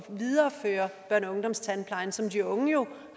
videreføre børne og ungdomstandplejen som de unge jo